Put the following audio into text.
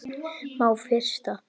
Má frysta.